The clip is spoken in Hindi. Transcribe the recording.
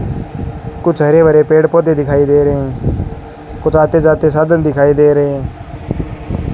कुछ हरे भरे पेड़ पौधे दिखाई दे रहे कुछ आते जाते साधन दिखाई दे रहे हैं।